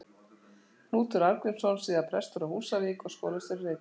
Knútur Arngrímsson, síðar prestur á Húsavík og skólastjóri í Reykjavík.